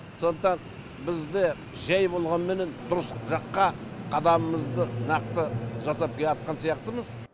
сондықтан біз де жай болғанменен дұрыс жаққа қадамымызды нақты жасап келеатқан сияқтымыз